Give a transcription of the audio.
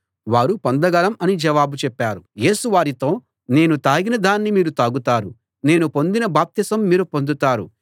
వారు పొందగలం అని జవాబు చెప్పారు యేసు వారితో నేను తాగిన దాన్ని మీరు తాగుతారు నేను పొందిన బాప్తిసం మీరు పొందుతారు